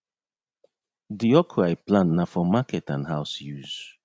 de okra i plant na for market and house use